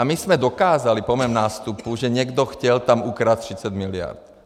A my jsme dokázali po mém nástupu, že někdo chtěl tam ukrást 30 miliard.